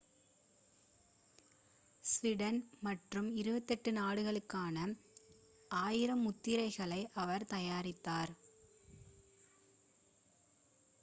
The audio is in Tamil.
ஸ்வீடன் மற்றும் 28 நாடுகளுக்கான 1000 முத்திரைகளை அவர் தயாரித்தார்